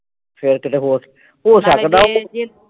ਫਿਰ ਕਿਤੇ ਹੋਰ ਹੋ ਸਕਦਾ